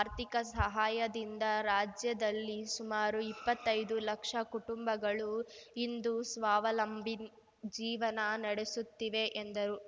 ಆರ್ಥಿಕ ಸಹಾಯದಿಂದ ರಾಜ್ಯದಲ್ಲಿ ಸುಮಾರು ಇಪ್ಪತ್ತೈದು ಲಕ್ಷ ಕುಟುಂಬಗಳು ಇಂದು ಸ್ವಾವಲಂಬಿ ಜೀವನ ನಡೆಸುತ್ತಿವೆ ಎಂದರು